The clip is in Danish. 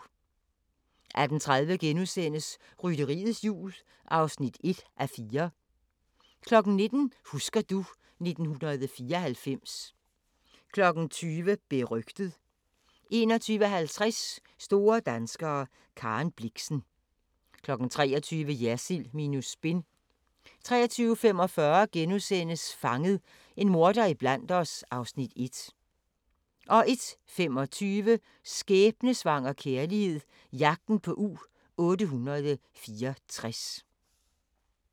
18:30: Rytteriets Jul (1:4)* 19:00: Husker du ... 1994 20:00: Berygtet 21:50: Store danskere - Karen Blixen 23:00: Jersild minus spin 23:45: Fanget – en morder iblandt os (Afs. 1)* 01:25: Skæbnesvanger kærlighed – jagten på U-864